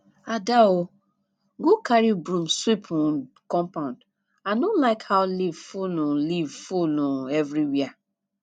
ada um go carry broom sweep the um compound i no like how leaf full um leaf full um everywhere